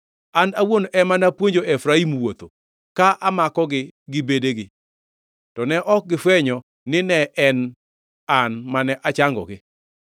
An owuon ema napuonjo Efraim wuotho, ka amakogi gi bedegi, to ne ok gifwenyo ni ne en An mane ochangogi.